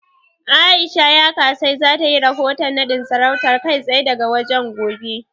A'isha Yakasai za ta yi rahoton naɗin sarautar, kai tsaye daga wajen, gobe.